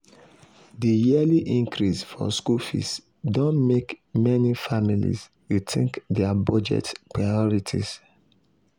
di yearly increase for school fees don mek meni families rethink dia budget priorities.